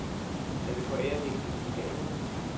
Han ville forære hende en lille gave.